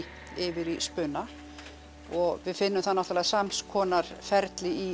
yfir í spuna og við finnum það náttúrulega samskonar ferli í